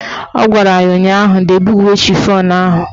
Ọ gwara ya ụnyaahụ "Dobe uwe chifọn ahụ"!